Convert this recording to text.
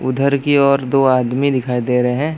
उधर की ओर दो आदमी दिखाई दे रहे है।